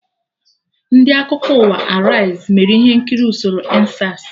Ndị Akụkọ ụwa Araiz mere ihe nkiri usoro EndSARS